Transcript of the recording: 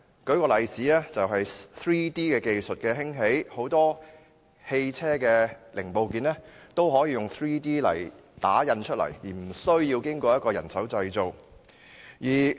例如，隨着 3D 技術的興起，很多汽車的零部件都可以用 3D 技術打印，而無需經人手製造。